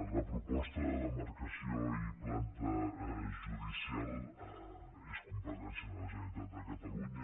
la proposta de demarcació i planta judicial és competència de la generalitat de catalunya